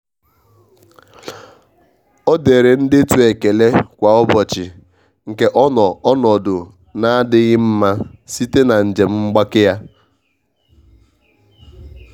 o dere ndetu ekele kwa ụbọchị nke ọ nọ onodu na adịghi mma site na njem mgbake ya.